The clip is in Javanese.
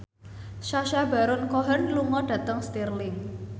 Sacha Baron Cohen lunga dhateng Stirling